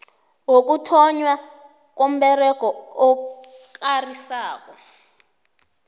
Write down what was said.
ukuthonnywa komberego okarisako